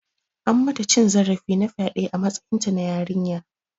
An mata cin zarafi na faɗe a matsayinta na yarinya.